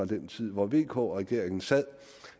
den tid hvor vk regeringen sad